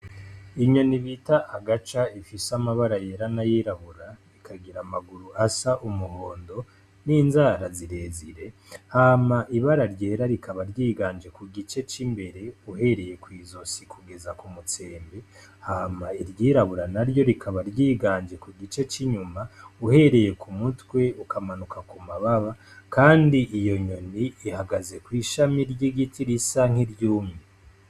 Inyoni ibita agaca ifise amabara yera na yirabura ikagira amaguru asa umuhondo n'inzara zirezire hama ibara ryera rikaba ryiganje ku gice c'imbere uhereye kw'izosi kugeza ku mutsembe hama iryirabura na ryo rikaba ryiganje ku gice c'inyuma uhee rereye ku mutwe ukamanuka ku mababa, kandi iyo nyoni ihagaze kw'ishami ry'igiti risa nk'iryumi.